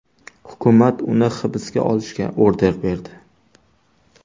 Hukumat uni hibsga olishga order berdi.